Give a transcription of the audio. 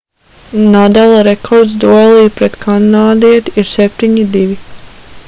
nadala rekords duelī pret kanādieti ir 7-2